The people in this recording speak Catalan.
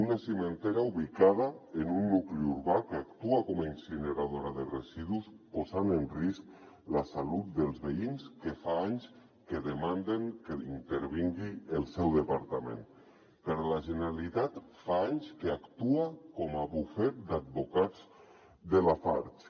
una cimentera ubicada en un nucli urbà que actua com a incineradora de residus posant en risc la salut dels veïns que fa anys que demanden que intervingui el seu departament però la generalitat fa anys que actua com a bufet d’advocats de lafarge